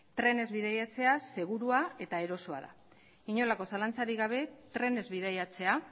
trenez bidaiatzea segurua eta erosoa da inolako zalantzarik gabe trenez bidaiatzea